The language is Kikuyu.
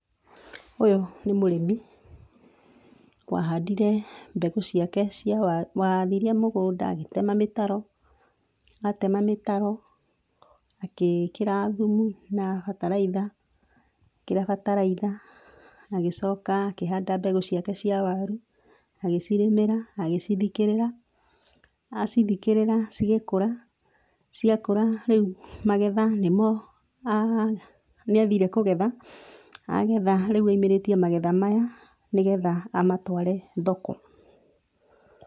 Ũyũ nĩ mũrĩmi wahandire mbegũ ciake cia wa, waharĩirie mũgũnda, agĩtema mĩtaro, atema mĩtaro agĩkĩra thumu na bataraitha, ekĩra bataraitha agĩcoka akĩhanda mbegũ ciake cia waru, agĩcirĩmĩra, agĩcithikĩrĩra, acithikĩrĩra cigĩkũra, ciakũra rĩu magetha nĩmo, nĩathire kũgetha, agetha rĩu aumĩrĩtie magetha maya nĩgetha amatware thoko.